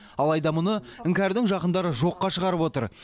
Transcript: алайда мұны іңкәрдің жақындары жоққа шығарып отыр